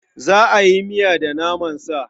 Za a yi miya da naman sa.